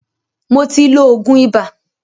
Mó tí ló oògùn ibà.